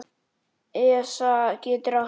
ESA getur átt við